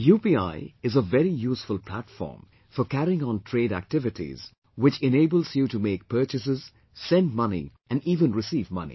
UPI is a very useful platform for carrying on trade activities which enables you to make purchases, send money and even receive money